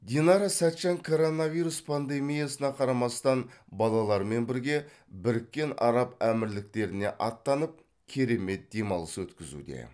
динара сәтжан коронавирус пандемиясына қарамастан балаларымен бірге біріккен араб әмірліктеріне аттанып керемет демалыс өткізуде